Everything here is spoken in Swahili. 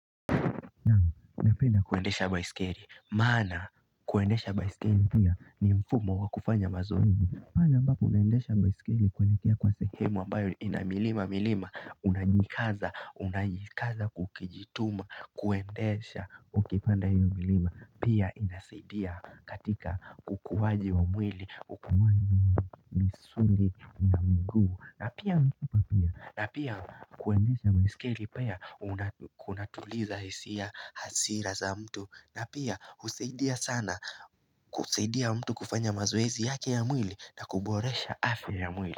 Napenda kuendesha baiskeli maana kuendesha baiskeli pia ni mfumo wa kufanya mazoezi pale ambapo unaendesha baiskeli kwelekea kwa sehemu ambayo ina milima milima unajikaza unajikaza kukijituma kuendesha ukipanda hiyo milima pia inasaidia katika kukuwaji wa mwili ukumani misuli na miguu na pia na pia kuendesha baiskeli pia kunatuliza hisia hasira za mtu na pia usaidia sana kusaidia mtu kufanya mazoezi yake ya mwili na kuboresha afya ya mwili.